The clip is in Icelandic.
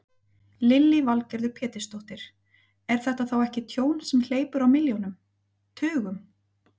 Lillý Valgerður Pétursdóttir: Er þetta þá ekki tjón sem hleypur á milljónum, tugum?